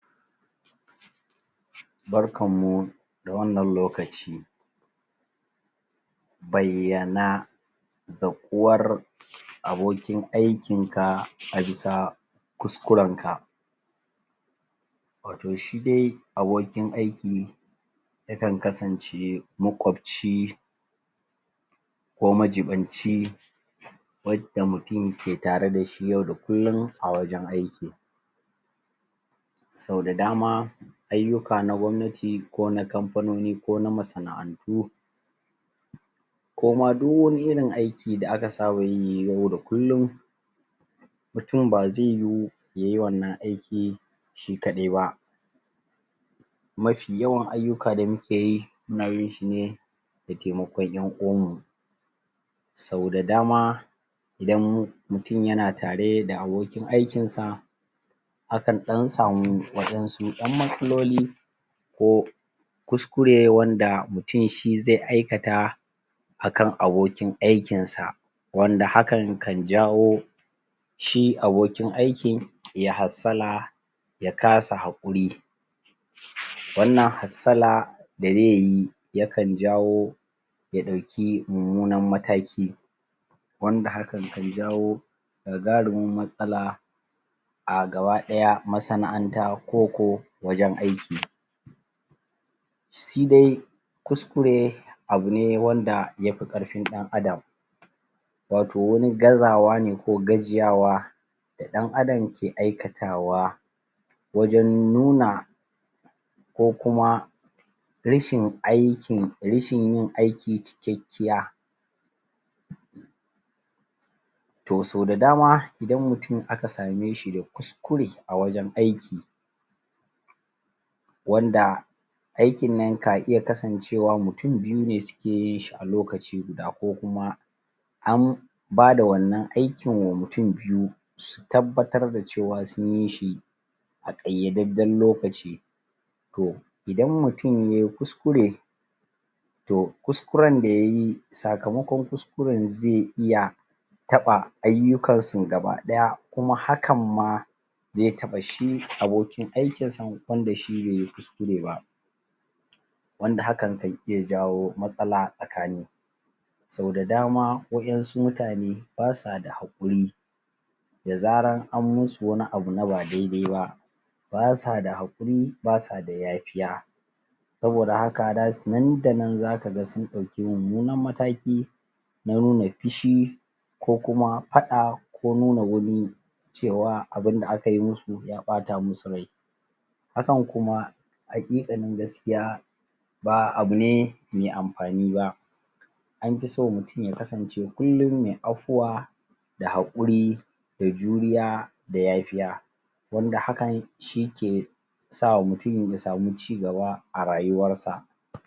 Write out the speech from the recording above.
Barkan mu da wannan lokaci bayyana zaƙuwar abokin aikinka a bisa kuskurenka wato shi dai abokin aiki yakan kasance maƙwabci ko majiɓinci wadda mutum ke tare da shi yau da kullum a wajen aiki sau da dama ayyuka na gwamnati ko na kamfanoni ko na masana'antu ko ma du wani irin aiki da aka saba yi yau da kullum mutum ba ze yiwu ya yi wannan aiki shi kaɗai ba mafi yawan ayyuka da muke yi muna yin shi ne da temakon ƴan uwanmu sau da dama idan mu mutum yana tare da abokin aikinsa akan ɗan samu wasu ƴan matsaloli ko kuskure wanda mutum shi ze aikata akan abokin aikinsa wanda hakan kan jawo shi abokin aikin ya hassala ya kasa haƙuri wannan hassala da ze yi ya kan jawo ya ɗauki mummunan mataki wanda hakan kan jawo gagarumin matsala a gaba-ɗaya masana'anta koko wajen aiki shi dai kuskure abu ne wanda ya fi ƙarfin ɗan Adam wato wani gazawa ne ko gajiyawa da ɗan Adam ke aikatawa wajen nuna ko kuma rashin aikin rashin yin aiki cikakkiya to so da dama idan mutum aka same shi da kuskure a wajen aiki wanda aikin nan ka iya kasancewa mutum biyu ne suke yin shi a lokaci guda ko kuma an bada wannan aikin wa mutum biyu su tabbatar da cewa sun yi shi a ƙayyadajjen lokaci to idan mutum ya yi kuskure to kuskuren da ya yi sakamakon kuskuren ze iya taɓa ayyukansun gaba-daya kuma hakan ma ze taɓa shi abokin aikinsan wanda shi be yi kuskure ba wanda hakan kan iya jawo matsala tsakani sau da dama waƴansu mutane ba sa da haƙuri da zaran an musu wani abu na ba daidai ba ba sa da haƙuri ba sa da yafiya saboda haka nan da nan zaka ga sun ɗauki mummunan mataki na nuna fushi ko kuma faɗa ko nuna wani cewa abin da aka yi musu ya ɓata musu rai akan kuma haƙiƙanin gaskiya ba abu ne me amfani ba an fi so mutum ya kasance kullum me afuwa da haƙuri da juriya da ya fiya wanda hakan shi ke sa wa mutum ya samu cigaba a rayuwarsa